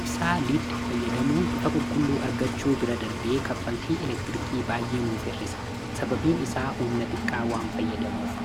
ibsaa liid fayyadamuun ifa qulqulluu argachuu bira darbee kaffaltii elektirikii baay'eenuuf irrisa sababiin isaa humna xiqqaawwaan fayyadamuuf